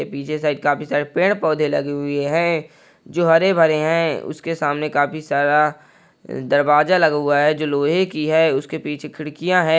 पिछे साइड काफी सारे पेड़ पोधे लगे हुए है जो हरे-भरे है उसके सामने काफ़ी सारा दरवाज़ा लगा हुआ है जो लोहे की है उसके पीछे खिड़किया है।